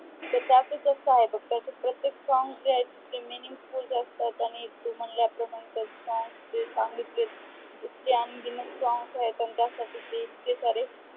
त्याचा अर्थ तसा आहे. त्याचे प्रत्येक songs जे आहे ते meaningful असतात. आणि तू म्हणला प्रमाणे त्याचे songs जे सांगितले ते अनगिणक songs आहे. त्यासाठी त्याला इतके सारे